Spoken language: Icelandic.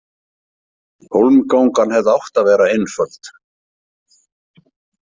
Hólmgangan hefði átt að vera einföld.